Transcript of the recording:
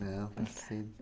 está sendo.